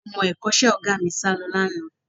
Àwọn ọmọ ẹ̀kọ́ṣẹ́ Ọ̀gá mi sálọ lánàá